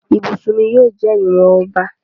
ibusùn mí yíò jẹ ìwọn ọba.